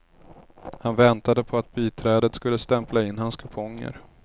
Han väntade på att biträdet skulle stämpla in hans kuponger.